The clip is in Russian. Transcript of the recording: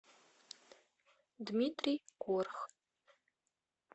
дмитрий корх